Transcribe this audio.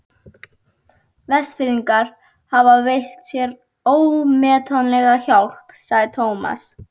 Vestfirðingar hafa veitt mér ómetanlega hjálp sagði Thomas.